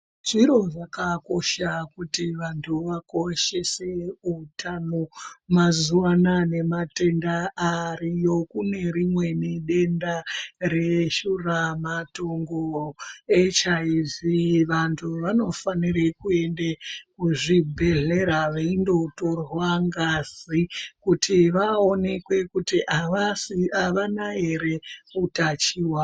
Zviro zvakakosha kuti vantu vakoshese wutano. Mazuvana nematenda ariyo, kunerimweni denda reshuramatongo, HIV. Vantu vanofanire kuyende kuzvibhedhlera veyindotorwa ngazi kuti vawonekwe, kuti havana here wutachiwana.